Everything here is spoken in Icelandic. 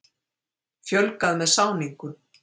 Fjölgað með sáningu.